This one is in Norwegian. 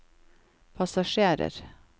passasjerer